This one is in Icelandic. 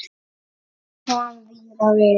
Og kom víða við.